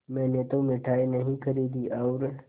मैंने तो मिठाई नहीं खरीदी और